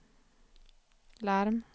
larm